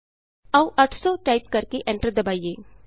ਆਉ 800 ਟਾਈਪ ਕਰਕੇ ਐਂਟਰ ਦਬਾਈਏ